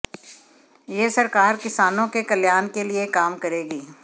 यह सरकार किसानों के कल्याण के लिए काम करेगी